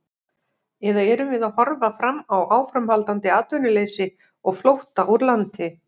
Eða erum við að horfa fram á áframhaldandi atvinnuleysi og flótta úr landi?